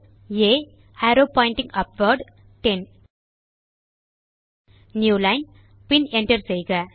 ஆ arrow pointing upward 10 new line பின் Enter செய்க